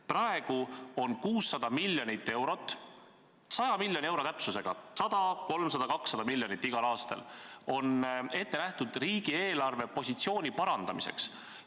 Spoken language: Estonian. Praegu on 600 miljonit eurot – 100 miljoni euro täpsusega 100, 300, 200 miljonit igal aastal – ette nähtud riigi eelarvepositsiooni parandamiseks.